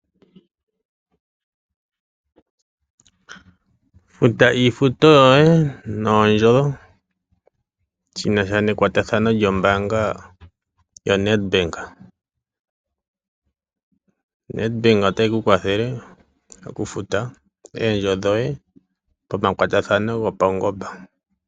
Futa iifuto yoye noondjo shinasha nekwatathano lyombaanga yo Netbank. ONetbank otayi ku kwathele okufuta eendjo dhoye pomakwatathano gopawungoba.